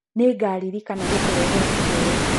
Nĩngarĩrĩkana gũkũretera kĩheo.